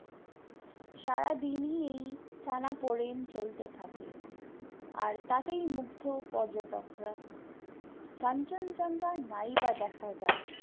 সারাদিনই এই টানাপোড়েন চলতে থাকে, আর তাতেই মুগ্ধ পর্যটকরা, কাঞ্চন জংঘা নাই বা দেখা যায়